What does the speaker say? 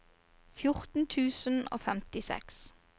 fjorten tusen og femtiseks